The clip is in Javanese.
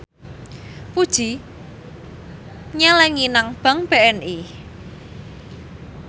Puji nyelengi nang bank BNI